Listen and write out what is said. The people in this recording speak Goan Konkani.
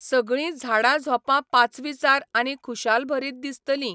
सगळी झांडाझोपां पाचवीचार आनी खुशालभरीत दिसतली.